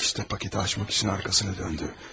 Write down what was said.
İşte paketi açmaq üçün arxasını döndü.